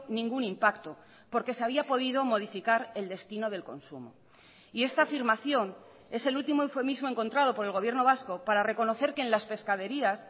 ningún impacto porque se había podido modificar el destino del consumo y esta afirmación es el último eufemismo encontrado por el gobierno vasco para reconocer que en las pescaderías